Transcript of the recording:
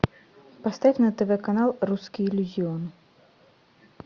поставь на тв канал русский иллюзион